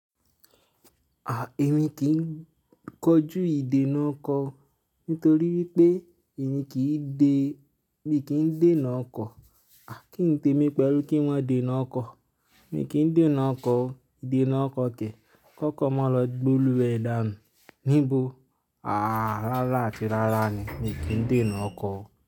À, èmi kì ń kọjú ìdènà ọkọ nítorí wípé èmi kì í dè, mi kì ń dé ọkọ̀. A, kí n te mí pẹ̀lú kí maa de na ọkọ̀. Mi kì ń dé ọ̀nà ọkọ̀, ìdènà ọkọ̀ ke. Ki okọ́ máa lọ gbe olùwé dá nu níbo. Rárá àti rárá ni mi kì ń dé ọkọ̀.